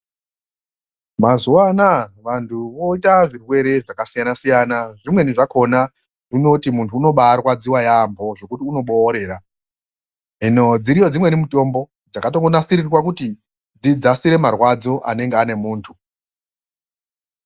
Mazuwa anaa vanthu voita zvirwere zvakasiyana-siyana, zvimweni zvakhona zvinoti munthu unobaarwadziwa yaambho zvekuti unoboorera, hino dziriyo dzimweni mutombo dzakatongonasirirwa kuti dzidzasire marwadzo anenge ane munthu.